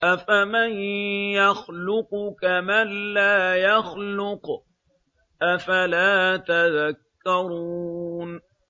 أَفَمَن يَخْلُقُ كَمَن لَّا يَخْلُقُ ۗ أَفَلَا تَذَكَّرُونَ